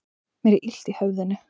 Mér er illt í höfðinu.